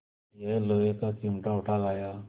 यह लोहे का चिमटा उठा लाया